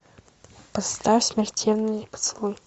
поставь смертельный поцелуй